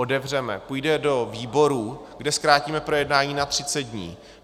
Otevřeme, půjdeme do výborů, kde zkrátíme projednání na 30 dní.